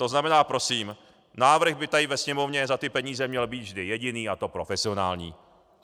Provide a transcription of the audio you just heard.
To znamená, prosím, návrh by tady ve Sněmovně za ty peníze měl být vždy jediný, a to profesionální.